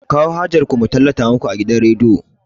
Ku kawo hajar ku mu tallata muku a gidan rediyo!